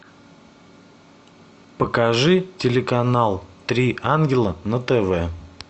покажи телеканал три ангела на тв